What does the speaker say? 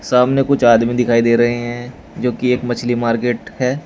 सामने कुछ आदमी दिखाई दे रहे हैं जो की एक मछली मार्केट है।